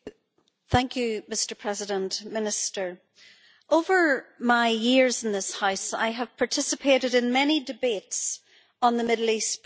Mr President, over my years in this House, I have participated in many debates on the Middle East peace process.